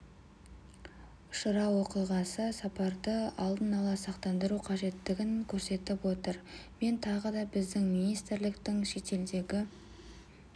ұшырау оқиғасы сапарды алын ала сақтандыру қажеттігін көрсетіп отыр мен тағы да біздің министрліктің шетелдегі